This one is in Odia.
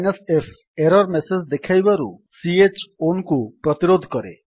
f ଏରର୍ ମେସେଜ୍ ଦେଖାଇବାରୁ ଚ୍ ownକୁ ପ୍ରତିରୋଧ କରେ